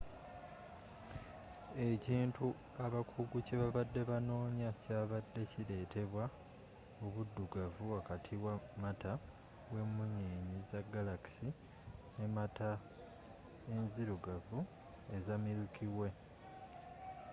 ekintu abakugu kye babadde banoonya kyabadde kiretebwa obuddugavu wakati wa mata w'emunyenye za galaxy ne mata enzirugavu eza milky way